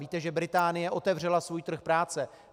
Víte, že Británie otevřela svůj trh práce.